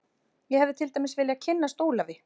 Ég hefði til dæmis viljað kynnast Ólafi